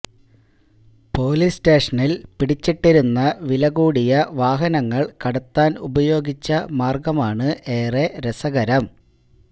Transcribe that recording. police സ്റ്റേഷനില് പിടിച്ചിട്ടിരുന്ന വില കൂടിയ വാഹനങ്ങള് കടത്താന് ഉപയോഗിച്ച മാര്ഗമാണ് ഏറെ രസകരം